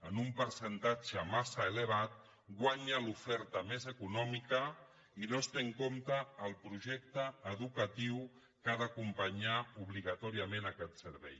en un percentatge massa elevat guanya l’oferta més econòmica i no es té en compte el projecte educatiu que ha d’acompanyar obligatòriament aquest servei